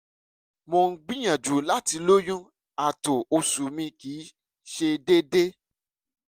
mo ń gbìyànjú láti lóyún ààtò oṣù mi kì í ṣe déédéé